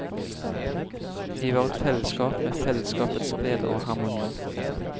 Vi var et fellesskap med fellesskapets gleder og harmoni.